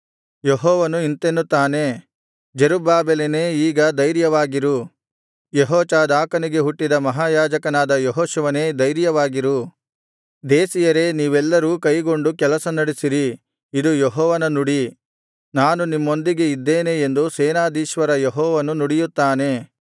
ಯೆಹೋವನು ಇಂತೆನ್ನುತ್ತಾನೆ ಜೆರುಬ್ಬಾಬೆಲನೇ ಈಗ ಧೈರ್ಯವಾಗಿರು ಯೆಹೋಚಾದಾಕನಿಗೆ ಹುಟ್ಟಿದ ಮಹಾಯಾಜಕನಾದ ಯೆಹೋಶುವನೇ ಧೈರ್ಯವಾಗಿರು ದೇಶೀಯರೇ ನೀವೆಲ್ಲರೂ ಧೈರ್ಯಗೊಂಡು ಕೆಲಸ ನಡಿಸಿರಿ ಇದು ಯೆಹೋವನ ನುಡಿ ನಾನು ನಿಮ್ಮೊಂದಿಗೆ ಇದ್ದೇನೆ ಎಂದು ಸೇನಾಧೀಶ್ವರ ಯೆಹೋವನು ನುಡಿಯುತ್ತಾನೆ